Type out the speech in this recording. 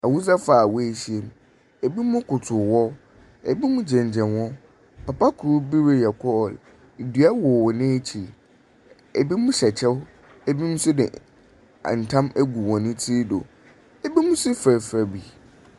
Awesafo a woehyia mu, binom kotow hɔ, binom gyinagyina hɔ, papa kor bi reyɛ call. Dua wɔ hɔn ekyir, binom hyɛ kyɛw, binom nso de tam egu hɔn tsir do, binom so furafura bi.